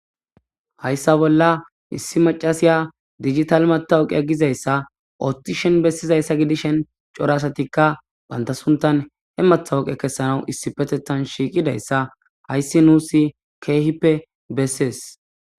hayssa bolla issi macasiya digital matawoqia gizayssa oothti shen bessizayssa gidishen cora asatikka banta suntan he matawoqe kessanawu issi petetan shiiqidayssa hayssi nuusi keehippe bessees